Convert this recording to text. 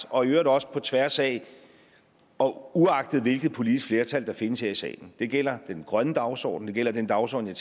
og i øvrigt også på tværs af og uagtet hvilket politisk flertal der findes her i salen det gælder den grønne dagsorden det gælder den dagsorden jeg